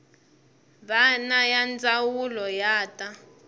wana ya ndzawulo ya ta